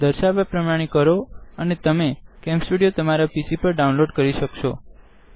દર્શાવ્યા પ્રમાણે કરો અને તમે કેમ સ્ટુડીઓ તમારા પીસી પર ડાઉનલોડ કરી શકશો